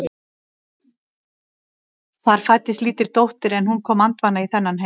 Það fæddist lítil dóttir en hún kom andvana í þennan heim.